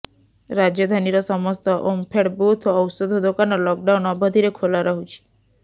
ରାଜଧାନୀର ସମସ୍ତ ଓମଫେଡ୍ ବୁଥ୍ ଓ ଔଷଧ ଦୋକାନ ଲକ୍ ଡାଉନ ଅବଧିରେ ଖୋଲା ରହୁଛି